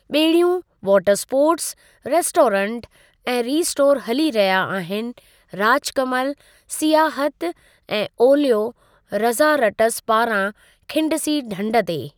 ॿेड़ियूं, water sports, restaurant, ऐं restore हलिया रहिया आहिनि राजकमल सियाहत ऐं ओलयो रज़ारटस पारां खिंडसी ढंढ ते।